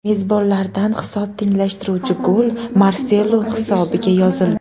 Mezbonlardan hisob tenglashtiruvchi gol Marselo hisobiga yozildi.